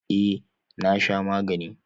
Eh na sha magani.